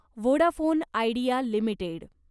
Vodafone Idea limited